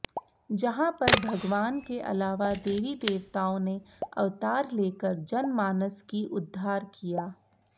जहां पर भगवान के अलावा देवी देवताओं ने अवतार ले कर जनमानस की उद्धार किया